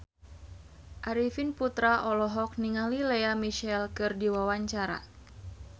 Arifin Putra olohok ningali Lea Michele keur diwawancara